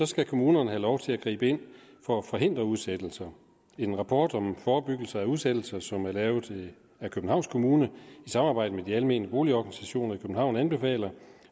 skal kommunerne have lov til at gribe ind for at forhindre udsættelser en rapport om forebyggelse af udsættelser som er lavet af københavns kommune i samarbejde med de almene boligorganisationer i københavn anbefaler